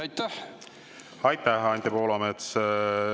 Aitäh, Anti Poolamets!